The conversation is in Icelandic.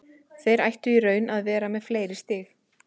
Þeir ættu í raun að vera með fleiri stig.